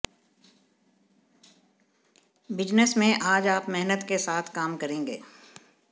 business में आज आप मेहनत के साथ काम करेंगे